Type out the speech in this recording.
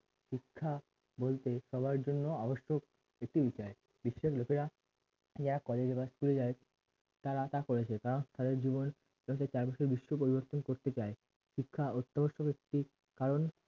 শিক্ষা বলতে সবার জন্য অবশ্যক একটি উজায় বিশ্বের লোকেরা যারা college এ বা school এ যাই তারা তা করেছে কারণ তাদের জীবন বিশ্ব পরিবর্তন করতে চাই শিক্ষা অত্নবস্তুক একটি কারণ